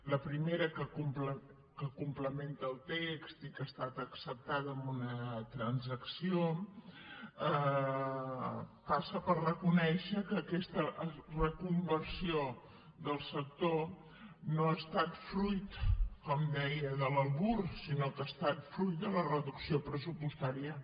la primera que complementa el text i que ha estat acceptada amb una transacció passa per reconèixer que aquesta reconversió del sector no ha estat fruit com deia de l’albir sinó que ha estat fruit de la reducció pressupostària